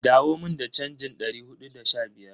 Dawo mun da chanjin dari hudu da sha biyar.